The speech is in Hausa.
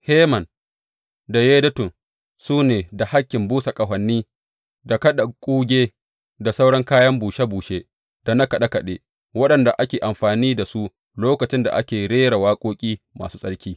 Heman da Yedutun su ne da hakkin busa ƙahoni da kaɗa kuge da sauran kayan bushe bushe da na kaɗe kaɗe, waɗanda ake amfani da su lokacin da ake rera waƙoƙi masu tsarki.